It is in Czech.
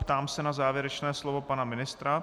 Ptám se na závěrečné slovo pana ministra.